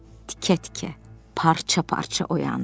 Tikə-tikə, parça-parça oyandı.